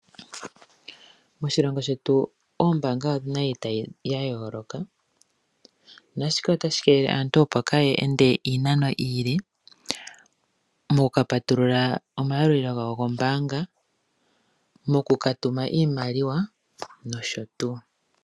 Moshilongo shetu ombaanga odhini itayi ya yooloka, naashika otashi kelele opo aantu kaya ende iinano iile, mokukapatulula omayalulilo gawo gombaanga, mokukatuma iimaliwa nosho tuu.